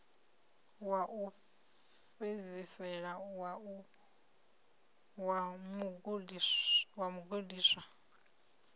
wa u fhedzisela wa mugudiswa